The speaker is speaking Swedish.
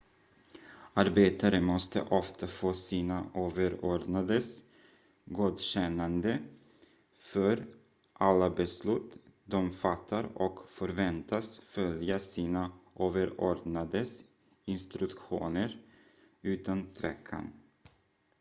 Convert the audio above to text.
arbetare måste ofta få sina överordnades godkännande för alla beslut de fattar och förväntas följa sina överordnades instruktioner utan tvekan